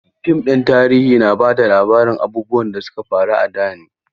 Fim ɗin tarihi na ba da labarin abubuwan da su ka faru a da ne.